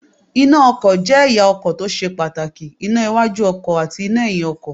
Iná ọkọ̀ jẹ́ ẹ̀ya ọkọ̀ tó ṣe pàtàkì; iná iwájú ọkọ̀ àti iná ẹ̀yin ọkọ̀.